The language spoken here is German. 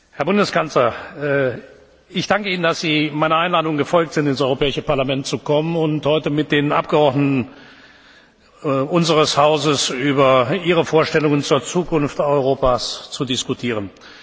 Herr Bundeskanzler! Ich danke Ihnen, dass Sie meiner Einladung gefolgt sind, ins Europäische Parlament zu kommen und heute mit den Abgeordneten unseres Hauses über Ihre Vorstellungen zur Zukunft Europas zu diskutieren.